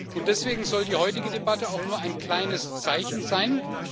Und deswegen soll die heutige Debatte auch nur ein kleines Zeichen sein.